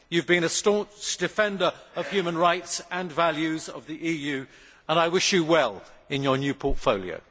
You have been a staunch defender of human rights and the values of the EU, and I wish you well in your new portfolio.